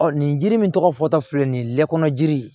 nin jiri min tɔgɔ fɔ fɔ ta filɛ nin ye lɛ kɔnɔ jiri